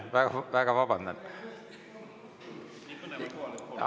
Palun väga vabandust!